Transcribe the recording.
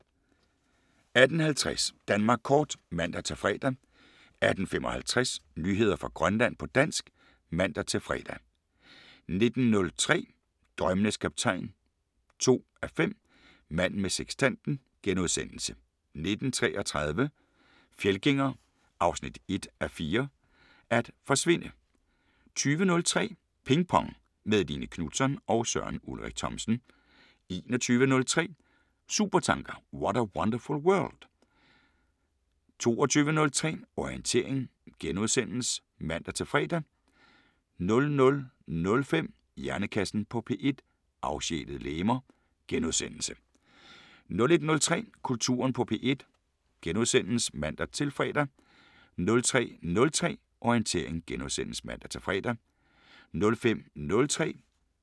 18:50: Danmark kort (man-fre) 18:55: Nyheder fra Grønland på dansk (man-fre) 19:03: Drømmenes Kaptajn 2:5 – Manden med sekstanten * 19:33: Fjeldgænger 1:4 – At forsvinde 20:03: Ping Pong – med Line Knutzon og Søren Ulrik Thomsen 21:03: Supertanker: What a wonderful world? 22:03: Orientering *(man-fre) 00:05: Hjernekassen på P1: Afsjælede legemer * 01:03: Kulturen på P1 *(man-fre) 03:03: Orientering *(man-fre)